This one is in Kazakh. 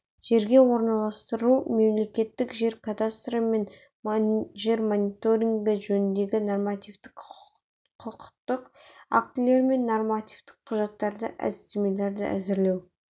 жерге орналастыру мемлекеттік жер кадастры және жер мониторингі жөніндегі нормативтік құқықтық актілер мен нормативтік құжаттарды әдістемелерді әзірлеу